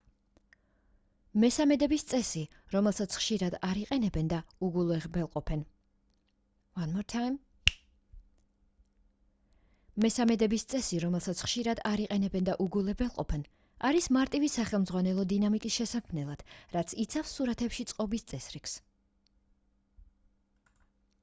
მესამედების წესი რომელსაც ხშირად არ იყენებენ და უგულებელყოფენ არის მარტივი სახელმძღვანელო დინამიკის შესაქმნელად რაც იცავს სურათებში წყობის წესრიგს